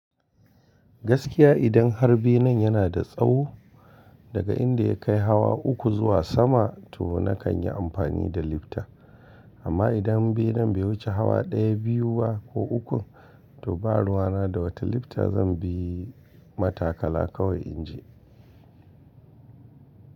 Gaskiya idan har benen yana da tsawo daga inda ya kai hawa uku zuwa sama to nakan yi amfani da lifta amma idan benen bai wuce hawa ɗaya biyu ba ko uku to baruwa na da wata lifta zan bi matakala kawai in je.